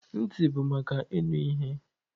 Ntị bụ maka ịnụ ihe.